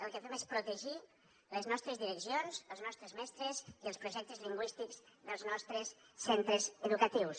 el que fem és protegir les nostres direccions els nostres mestres i els projectes lingüístics dels nostres centres educatius